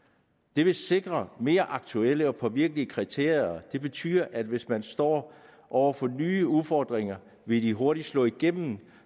det vil sikre mere aktuelle og påvirkelige kriterier det betyder at hvis man står over for nye udfordringer vil de hurtig slå igennem